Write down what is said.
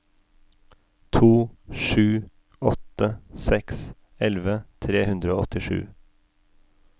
to sju åtte seks elleve tre hundre og åttisju